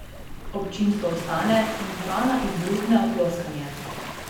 Občinstvo vstane in dvorana izbruhne v ploskanje.